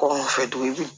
Kɔ mun fɛ tuguni